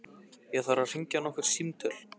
Ég þarf að hringja nokkur símtöl.